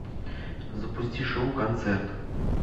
запусти шоу концерт